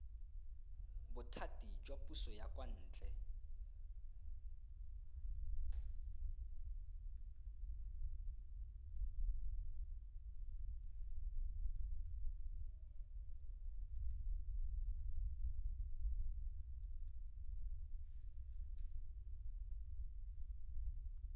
bothati jwa puso ya kwantle